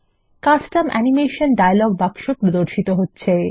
custom animation dialog বাক্স প্রদর্শিত হচ্ছে